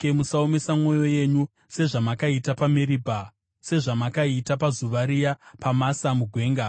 musaomesa mwoyo yenyu sezvamakaita paMeribha, sezvamakaita pazuva riya paMasa mugwenga,